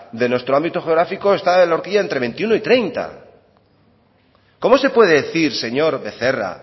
de nuestro ámbito geográfico esta la orquilla entre veintiuno y treinta cómo se puede decir señor becerra